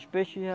Os peixes já...